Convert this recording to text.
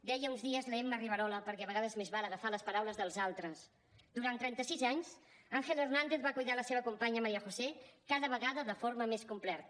deia fa uns dies l’emma riverola perquè a vegades més val agafar les paraules dels altres durant trenta sis anys ángel hernández va cuidar la seva companya maría josé cada vegada de forma més completa